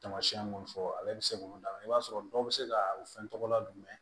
Tamasiyɛn mun fɔ ale bɛ se k'olu d'a ma i b'a sɔrɔ dɔw bɛ se ka o fɛn tɔgɔ ladon